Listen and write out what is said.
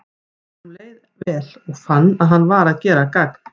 Honum leið leið vel, og fann að hann var að gera gagn.